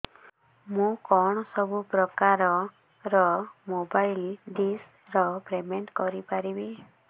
ମୁ କଣ ସବୁ ପ୍ରକାର ର ମୋବାଇଲ୍ ଡିସ୍ ର ପେମେଣ୍ଟ କରି ପାରିବି